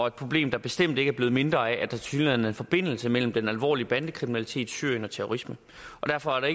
et problem der bestemt ikke er blevet mindre af at der tilsyneladende er forbindelse mellem den alvorlige bandekriminalitet syrien og terrorisme derfor er der